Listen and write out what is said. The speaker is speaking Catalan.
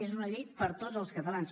és una llei per a tots els catalans